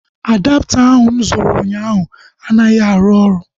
Adapta ahu mụ zụtara ụnyaahụ anaghị arụ ọrụ